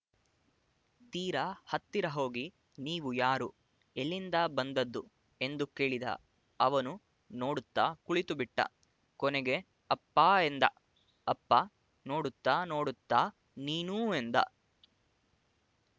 ತೀರ ಹತ್ತಿರ ಹೋಗಿ ನೀವು ಯಾರು ಎಲ್ಲಿಂದ ಬಂದದ್ದು ಎಂದು ಕೇಳಿದ ಅವನು ನೋಡುತ್ತ ಕುಳಿತುಬಿಟ್ಟ ಕೊನೆಗೆ ಅಪ್ಪಾ ಎಂದ ಅಪ್ಪ ನೋಡುತ್ತಾ ನೋಡುತ್ತಾ ನೀನೂ ಎಂದ